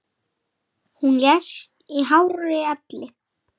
Hún lést í hárri elli.